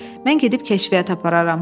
Mən gedib kəşfiyyat apararam.